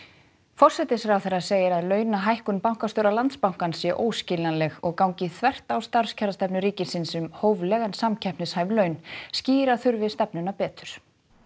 forsætisráðherra segir að launahækkun bankastjóra Landsbankans sé óskiljanleg og gangi þvert á starfskjarastefnu ríkisins um hófleg en samkeppnishæf laun skýra þurfi stefnuna betur